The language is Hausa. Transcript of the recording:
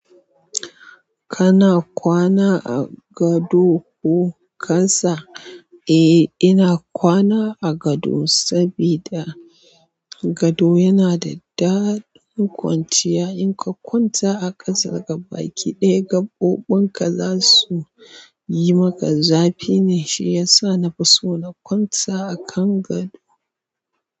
Kana kwana a gado koh kasa? Eh ina kwana a gado sabida gado yana da ɗaɗin kwanciya. In ka kwanta a ƙasa gabaɗaya ƙabobin ka za su yi maka zafi ne shiyasa na fi so na kwanta a kan gado.